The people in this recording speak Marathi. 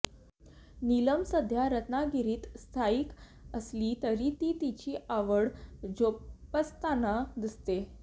नीलम सध्या रत्नागिरीत स्थायिक असली तरी ती तिची आवड जोपासताना दिसते